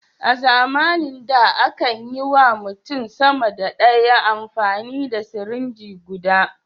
A zamanin da a kan yi wa mutum sama da ɗaya amfani da sirinji guda.